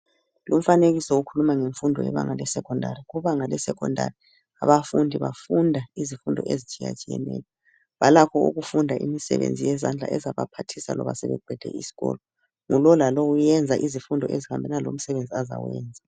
Lumfanekiso ukhuluma ngemfundo yebanga yesecondary, kubanga le secondary, abafundi bafunda izifundo ezitshiyatshiyeneyo. Balakho ukufunda imisebenzi yezandla, ezabaphathisa loba sebeqede iskolo. Ngulo lalo wenza izifundo ezihambelana lomsebenzi ozawenza.